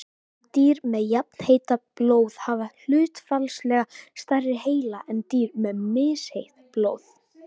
dýr með jafnheitt blóð hafa hlutfallslega stærri heila en dýr með misheitt blóð